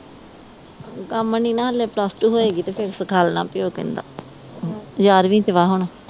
ਕੰਮ ਨਹੀਂ ਨਾ ਹਲੇ ਪਲੱਸ ਟੂ ਹੋਏ ਗੀ ਤੇ ਫਿਰ ਸਿਖਾਲਣਾ ਪੀਓ ਕਹਿੰਦਾ ਗਿਰਾਰਵੀ ਚ ਵਾ ਹੁਣ